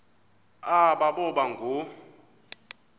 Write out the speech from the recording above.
aba boba ngoo